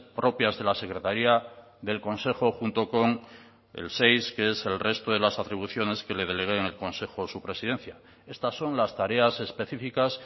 propias de la secretaría del consejo junto con el seis que es el resto de las atribuciones que le delegue en el consejo su presidencia estas son las tareas específicas